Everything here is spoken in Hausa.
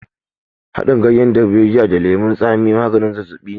Haɗin ganyen darbejiya da lemon tsami maganin zazzaɓi ne.